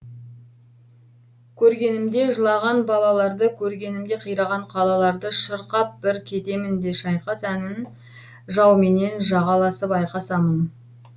көргенімде жылаған балаларды көргенімде қираған қалаларды шырқап бір кетемін де шайқас әнін жауменен жағаласып айқасамын